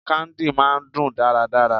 Candy máà ń dùn dáradára.